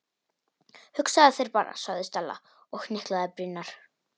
Hugsaðu þér bara- sagði Stella og hnyklaði brýnnar.